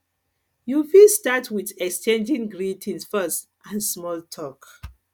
you fit start with exchanging greetings first and small talk